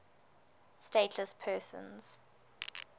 stateless persons